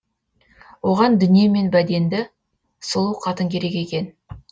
оған дүние мен бәденді сұлу қатын керек екен